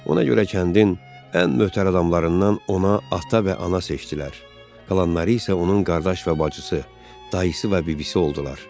Ona görə kəndin ən mötəbər adamlarından ona ata və ana seçdilər, qalanları isə onun qardaş və bacısı, dayısı və bibisi oldular.